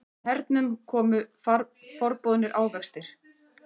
Með hernum komu forboðnir ávextir.